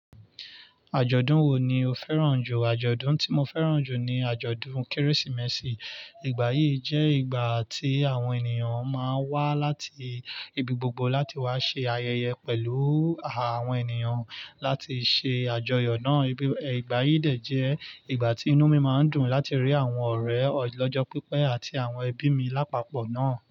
Àjọ̀dún wo ni o fẹ́ràn jù? Àjọ̀dún tí mo fẹ́ràn jù ni àjọ̀dún Kérésìmesì. Ìgbà yìí jẹ́ ìgbà tí àwọn ènìyàn máa ń wá láti ibi gbogbo láti wá ṣe ayẹyẹ pẹ̀lú àwọn ènìyàn láti ṣe àjọyọ̀ náà. Ìgbà yìí de jẹ ìgbà tí inú mi máa ń dùn láti rí àwọn ọ̀rẹ́ ọlọ́jọ́ pípẹ́ àti àwọn ẹbí mi lápapọ̀ náà.